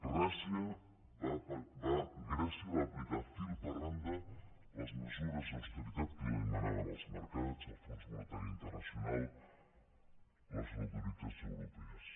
grècia va aplicar fil per randa les mesures d’austeritat que li demanaven els mercats el fons monetari internacional les autoritats europees